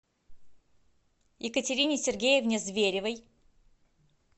екатерине сергеевне зверевой